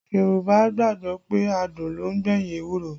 Yorùbá gbàgbọ́ pé adùn ló ń gbẹ̀yìn ewúro